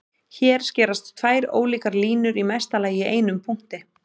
Hér skerast tvær ólíkar línur í mesta lagi í einum punkti.